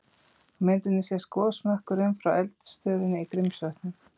Á myndinni sést gosmökkurinn frá eldstöðinni í Grímsvötnum.